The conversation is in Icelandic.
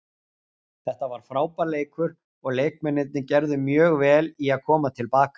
Þetta var frábær leikur og leikmennirnir gerðu mjög vel í að koma til baka.